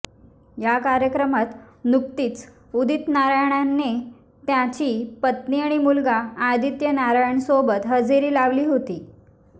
या कार्यक्रमात नुकतीच उदित नारायणने त्याची पत्नी आणि मुलगा आदित्य नारायणसोबत हजेरी लावली होती